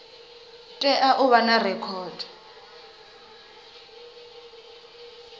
tea u vha na rekhodo